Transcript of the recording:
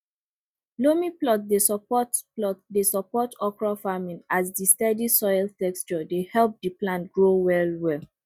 loamy plots dey support plots dey support okra farming as di steady soil texture dey help di plant grow well well